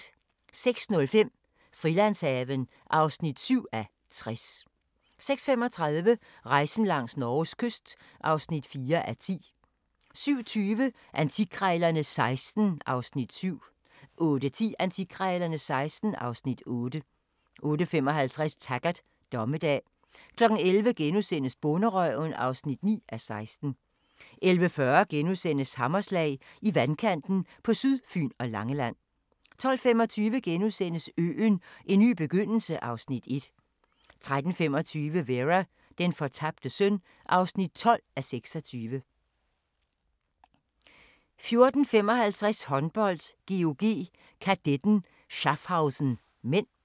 06:05: Frilandshaven (7:60) 06:35: Rejsen langs Norges kyst (4:10) 07:20: Antikkrejlerne XVI (Afs. 7) 08:10: Antikkrejlerne XVI (Afs. 8) 08:55: Taggart: Dommedag 11:00: Bonderøven (9:16)* 11:40: Hammerslag – I vandkanten på Sydfyn og Langeland * 12:25: Øen - en ny begyndelse (Afs. 1)* 13:25: Vera: Den fortabte søn (12:26) 14:55: Håndbold: GOG-Kadetten Schaffhausen (m)